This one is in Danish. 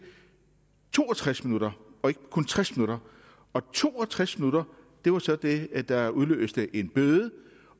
to og tres minutter og ikke kun tres minutter og to og tres minutter var så det der udløste en bøde